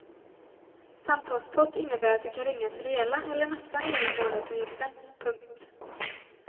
Samtalspott innebär att du kan ringa för hela eller nästan hela månadsavgiften. punkt